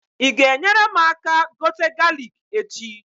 Ị ga-enyere mụ aka gote galik echi?